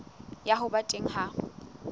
ya ho ba teng ha